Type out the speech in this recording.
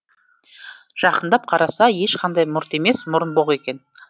жақындап қараса ешқандай мұрт емес мұрынбоқ екен